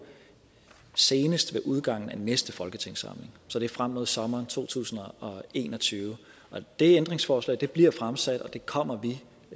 senest ved udgangen af næste folketingssamling så det er frem mod sommeren to tusind og en og tyve det ændringsforslag bliver fremsat og det kommer vi